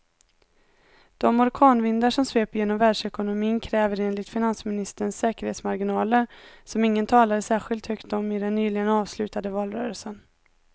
De orkanvindar som sveper genom världsekonomin kräver enligt finansministern säkerhetsmarginaler som ingen talade särskilt högt om i den nyligen avslutade valrörelsen.